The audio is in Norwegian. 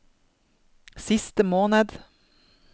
siste måned